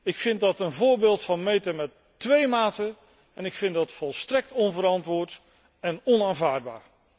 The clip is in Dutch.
Ik vind dat een voorbeeld van 'meten met twee maten' en ik vind dat volstrekt onverantwoord en onaanvaardbaar.